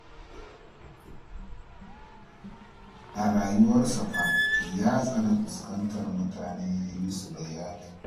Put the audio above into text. A rayuwarsa fa ya tsani fuskantar mutane ya yi musu bayani